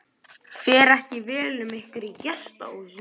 Fer ekki vel um ykkur í gestahúsinu?